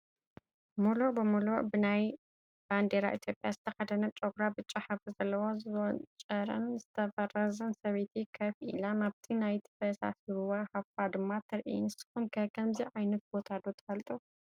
ሙሉእ ብሙሉእ ብናይ ባንዴራ ኢ/ያ ዝተኸደነት፣ ጨጉራ ብጫ ሕብሪ ዘለዎን ዝወንጨረን/ዝተፈረዘን ሰበይቲ ከፍ ኢላ፡፡ ናብቲ ናይቲ ፈሳሲ ሩባ ሃፋ ድማ ትሪኢ፡፡ ንስኹም ከ ከምዚ ዓ/ት ቦታ ዶ ትፈልጡ?